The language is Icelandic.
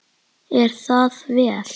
Er það vel.